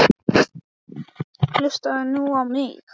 Hlustaðu nú á mig: Ástin endist en lostinn ekki!